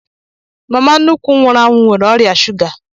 Mama nnukwu m nwụrụ anwụ nwere ọrịa shuga